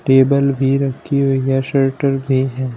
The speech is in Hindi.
टेबल भी रखी हुई है शटर भी है।